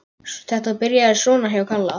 Þetta byrjaði svona hjá Kalla.